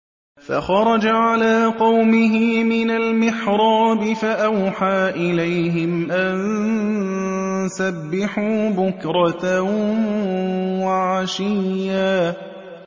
فَخَرَجَ عَلَىٰ قَوْمِهِ مِنَ الْمِحْرَابِ فَأَوْحَىٰ إِلَيْهِمْ أَن سَبِّحُوا بُكْرَةً وَعَشِيًّا